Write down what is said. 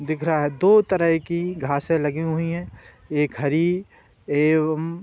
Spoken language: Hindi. दिख रहा है। दो तरह की घासें लगी हुईं हैं। एक हरी एवं --